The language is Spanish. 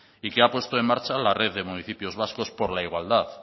y que ha puesto en marcha la red de municipios vascos por la igualdad